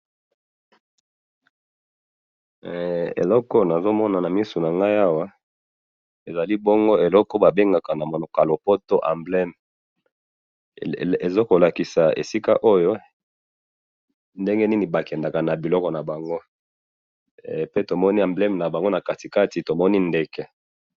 eloko oyo nazo mona na miso na ngai awa, ezali bongo eloko oyo ba bengaka na monoko ya lopoto embleme, ezo ko lakisa esika oyo ndenge nini ba kendaka na biloko na bango, pe to moni na embleme na bango na kati kati, tomoni ndeke